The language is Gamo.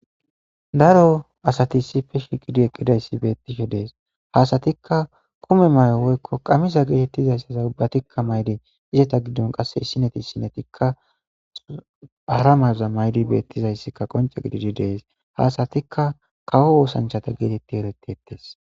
daro asati si fe shiqidi eqqidayssi beettishe dees haasatikka kume may7o woykko qamiza geetettizayssaza ubbatikka maydi izeta giddon qasse issineti issinetikka ara mayuza maydi beettizayssika qonca gididi dees haasatikka kawo oosanchata geetetti yeletteettes